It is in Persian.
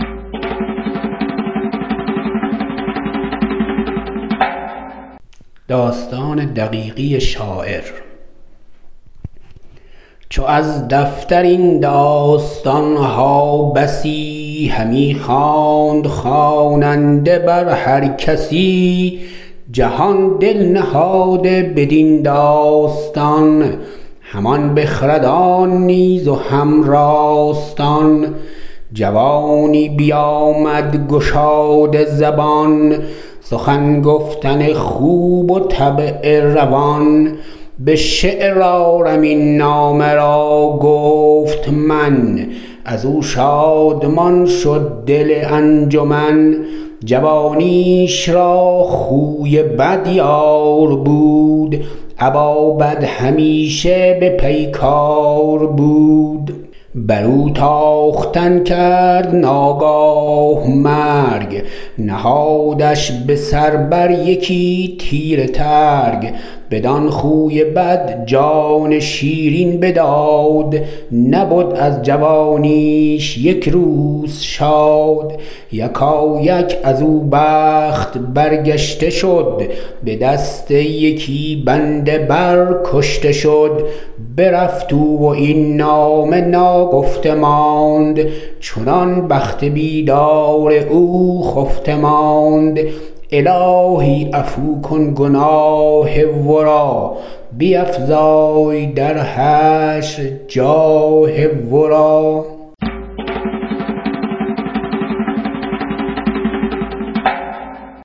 چو از دفتر این داستان ها بسی همی خواند خواننده بر هر کسی جهان دل نهاده بدین داستان همان بخردان نیز و هم راستان جوانی بیامد گشاده زبان سخن گفتن خوب و طبع روان به شعر آرم این نامه را گفت من از او شادمان شد دل انجمن جوانیش را خوی بد یار بود ابا بد همیشه به پیکار بود بر او تاختن کرد ناگاه مرگ نهادش به سر بر یکی تیره ترگ بدان خوی بد جان شیرین بداد نبد از جوانیش یک روز شاد یکایک از او بخت برگشته شد به دست یکی بنده بر کشته شد برفت او و این نامه ناگفته ماند چنان بخت بیدار او خفته ماند الهی عفو کن گناه ورا بیفزای در حشر جاه ورا